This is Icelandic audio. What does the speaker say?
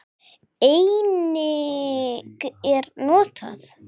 Einnig er notað